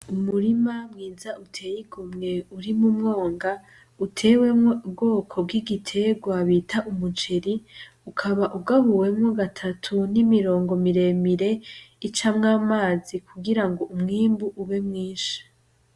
Umurima mwiza uteye igomwe urimwo umwonga utewemwo ubwoko bw'igiterwa bita umuceri ukaba ugabuwemwo gatatu n'imirowongo miremire icamwo amazi kugira ngo umwimbu ube mwinshi.